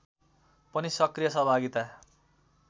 पनि सक्रिय सहभागिता